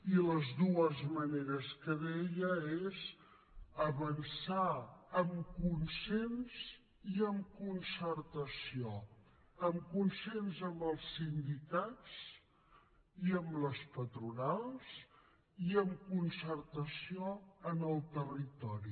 i les dues maneres que deia són avançar en consens i amb concertació en consens amb els sindicats i amb les patronals i amb concertació en el territori